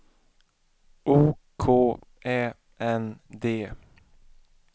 O K Ä N D